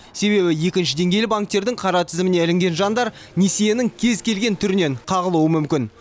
себебі екінші деңгейлі банктердің қара тізіміне ілінген жандар несиенің кез келген түрінен қағылуы мүмкін